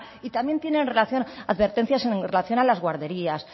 y también tienen advertencias en relación a las guarderías